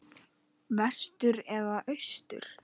Vestur eða austur?